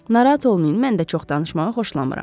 "Narahat olmayın, mən də çox danışmağı xoşlamıram."